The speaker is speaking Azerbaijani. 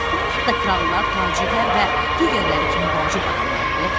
Onlar da krallar, tacirlər və digərləri kimi vacib adamlardır?”